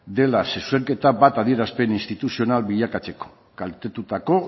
dela zuzenketa bat adierazpen instituzional bilakatzeko kaltetutako